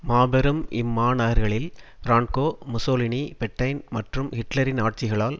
மாபெரும் இம்மாநகர்களில் Franco Mussolini Petain மற்றும் ஹிட்லரின் ஆட்சிகளால்